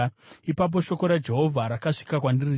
Ipapo shoko raJehovha rakasvika kwandiri richiti,